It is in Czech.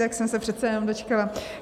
Tak jsem se přece jenom dočkala.